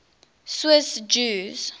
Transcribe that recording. swiss jews